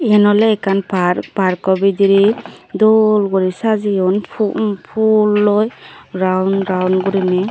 eyan ole ekkan park parkko bidire dol guri sajeyon pu m puloi raun raun gurine.